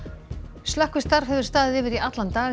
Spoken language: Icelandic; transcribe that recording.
slökkvistarf hefur staðið yfir í allan dag í